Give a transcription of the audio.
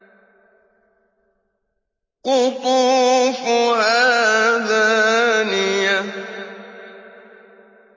قُطُوفُهَا دَانِيَةٌ